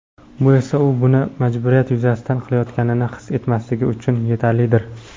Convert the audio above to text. Bu esa u buni majburiyat yuzasidan qilayotganini his etmasligi uchun yetarlidir.